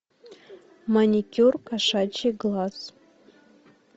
маникюр кошачий глаз